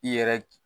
I yɛrɛ